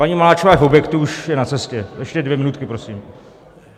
Paní Maláčová je v objektu, už je na cestě, ještě dvě minutky, prosím.